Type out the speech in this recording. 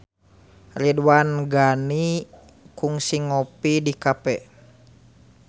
Ridwan Ghani kungsi ngopi di cafe